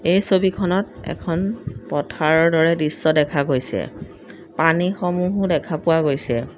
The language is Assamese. এই ছবিখনত এখন পথাৰৰ দৰে দৃশ্য দেখা গৈছে পানী সমূহো দেখা পোৱা গৈছে।